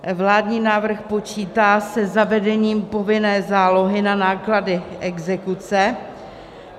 Vládní návrh počítá se zavedením povinné zálohy na náklady exekuce.